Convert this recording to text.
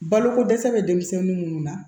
Baloko dɛsɛ bɛ denmisɛnnin minnu na